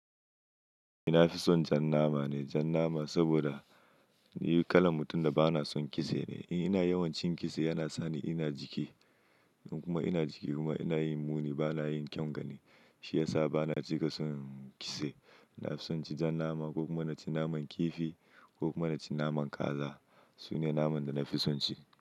Ina fison jan nama ne, jan nama saboda ni kalan mutum da ba na son kitse ne. In ina yawan cin kitse yana sani ina jike in kuma ina jike kuma ina yin muni ba na yin kyaun gani. Shi yasa ba na cika son kitse. Na fison ci jan nama ko kuma na ci naman kifi ko kuma na ci naman kaza. Sune naman da na fison ci.